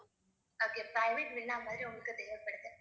அப்படியா private villa மாதிரி உங்களுக்கு தேவைப்படுது